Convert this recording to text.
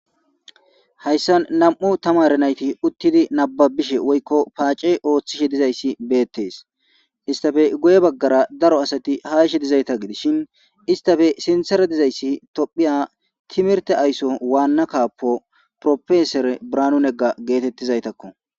hayssa nam7u tamare nayti uttidi nababishe woykko paace ooththishe dizayssi beettees istafe goye baggara daro asati haishe dizayta gidishshin istafe sintsere dizayssi tophiya timirte ayso waanna kaappo profesore branunegga geetettizaytakko